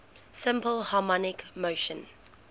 simple harmonic motion